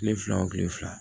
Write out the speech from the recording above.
Kile fila wo kile fila